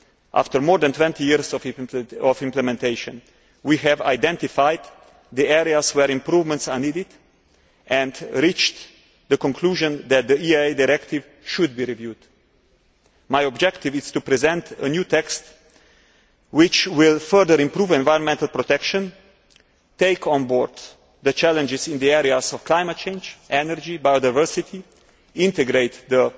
After more than 20 years of implementation, we have identified the areas where improvements are needed and reached the conclusion that the EIA Directive should be reviewed. My objective is to present a new text which will further improve environmental protection, take on board the challenges in the areas of climate change, energy and biodiversity, integrate